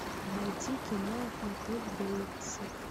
найти кино мотель бейтсов